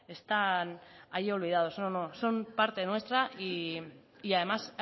están hay olvidados no no son parte nuestra y además